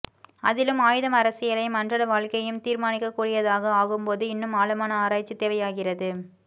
அதிலும் ஆயுதம் அரசியலையும் அன்றாட வாழ்க்கையையும் தீர்மானிக்கக்கூடியதாக ஆகும்போது இன்னும் ஆழமான ஆராய்ச்சி தேவையாகிறது